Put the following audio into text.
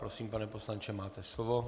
Prosím, pane poslanče, máte slovo.